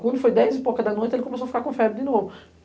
Quando foi dez e pouca da noite, ele começou a ficar com febre de novo.